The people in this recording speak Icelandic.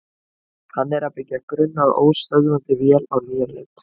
Hann er að byggja grunn að óstöðvandi vél á nýjan leik.